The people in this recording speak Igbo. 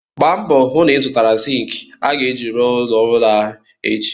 Gbaa mbọ hụ na-ịzụtara zịịnkị a ga-eji rụọ ụlọ ọhụrụ ahụ echi!